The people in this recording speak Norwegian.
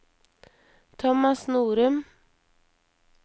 Thomas Norum